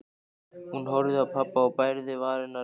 Hún horfði á pabba og bærði varirnar hljóðlaust.